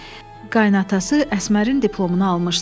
Qaynatası Əsmərin diplomunu almışdı.